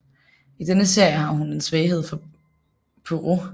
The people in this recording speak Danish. I denne serie har hun en svaghed for Poirot